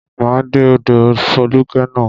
Máa dé ọ̀dọ̀ Fólúkẹ́ ná.